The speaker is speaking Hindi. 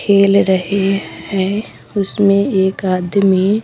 खेल रहे हैं उसमें एक आदमी--